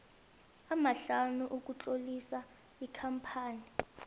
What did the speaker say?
amahlanu ukutlolisa ikampani